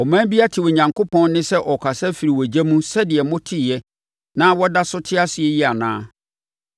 Ɔman bi ate Onyankopɔn nne sɛ ɔrekasa afiri ogya mu sɛdeɛ moteeɛ na wɔda so te ase yi anaa?